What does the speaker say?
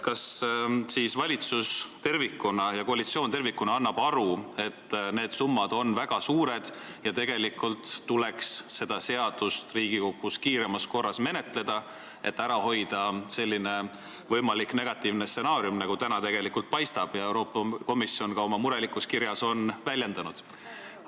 Kas valitsus ja koalitsioon tervikuna annavad endale aru, et need summad on väga suured ja tegelikult tuleks seda seadust Riigikogus kiiremas korras menetleda, et ära hoida võimalik negatiivne stsenaarium, mis täna tegelikult paistab, nagu ka Euroopa Komisjon oma murelikus kirjas on väljendanud?